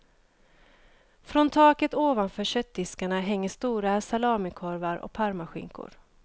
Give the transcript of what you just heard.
Från taket ovanför köttdiskarna hänger stora salamikorvar och parmaskinkor.